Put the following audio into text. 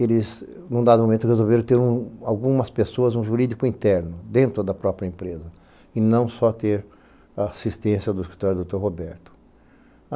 Eles, num dado momento, resolveram ter algumas pessoas, um jurídico interno, dentro da própria empresa, e não só ter assistência do escritório do Dr. Roberto.